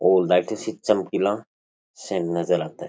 ओ लाइटां सी चमकीला सा नजर आता है।